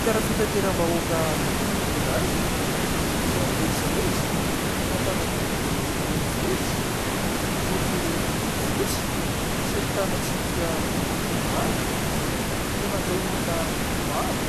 Fiara fitanteram-bahoaka iray izay mivezivezy eto Antananarivo renivohitra, miloko fotsy sy ahitana tsipika manga no nandray olona maro